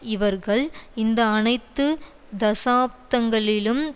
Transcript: இவர்கள் இந்த அனைத்து தசாப்தங்களிலும்